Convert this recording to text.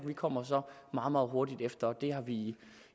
kommer så meget meget hurtigt derefter og det har vi